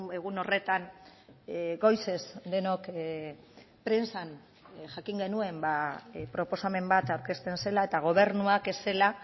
egun horretan goizez denok prentsan jakin genuen proposamen bat aurkezten zela eta gobernuak ez zela